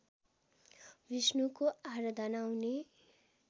विष्णुको आराधना हुने